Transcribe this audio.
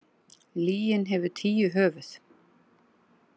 Lygin hefur tíu höfuð.